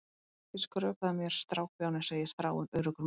Vertu ekki að skrökva að mér, strákbjáni, segir Þráinn, öruggur með sig.